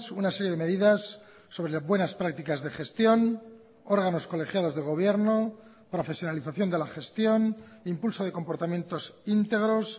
una serie de medidas sobre buenas prácticas de gestión órganos colegiados de gobierno profesionalización de la gestión impulso de comportamientos íntegros